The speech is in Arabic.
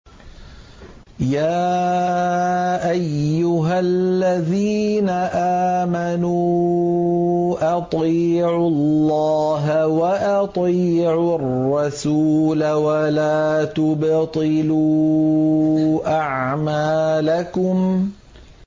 ۞ يَا أَيُّهَا الَّذِينَ آمَنُوا أَطِيعُوا اللَّهَ وَأَطِيعُوا الرَّسُولَ وَلَا تُبْطِلُوا أَعْمَالَكُمْ